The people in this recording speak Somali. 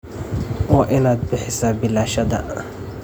Waa inaad bixisaa biilashaada.